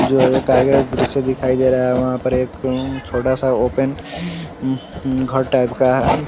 जो एक आगे दृश्य दिखाई दे रहा है वहां पर एक छोटा सा ओपन हु - हु घर टाइप का है--